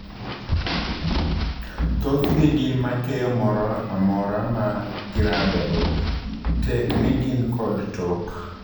Thothgi gin makeyo mora mora ma giradogo tekni gin kod tok.